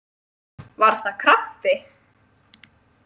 Var það krabbi?